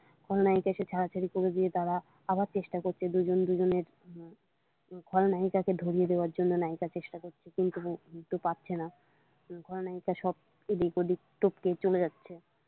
খলনায়িকা এসে ছাড়াছাড়ি করে দিয়ে তারা আবার চেষ্টা করছে দুজন দুজনের খলনায়িকাকে ধরিয়ে দেবার জন্য নায়িকা চেষ্টা করছে কিন্তু ধরতে পারছে না খলনায়িকা চলে যাচ্ছে।